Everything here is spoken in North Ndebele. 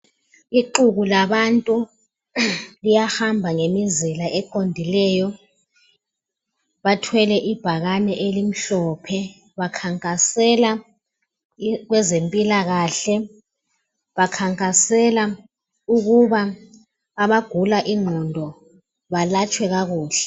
Ixuku labantu liyahamba ngemizila eqondileyo bathwele ibhakane elimhlophe bakhankasela kwezempilakahle ukuthi abagula ingqondo balatshwe kakuhle.